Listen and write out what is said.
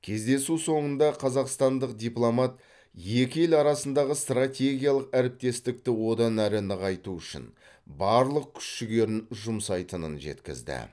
кездесу соңында қазақстандық дипломат екі ел арасындағы стратегиялық әріптестікті одан әрі нығайту үшін барлық күш жігерін жұмсайтынын жеткізді